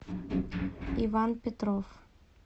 иван петров